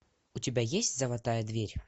у тебя есть золотая дверь